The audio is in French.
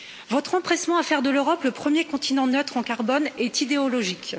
Votre empressement à faire de l'Europe le premier continent neutre en carbone est idéologique.